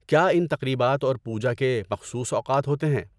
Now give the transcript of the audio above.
کیا ان تقریبات اور پوجا کے مخصوص اوقات ہوتے ہیں؟